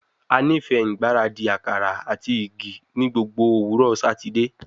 A nifẹ ngbaradi akara ati igi ni gbogbo owurọ Satidee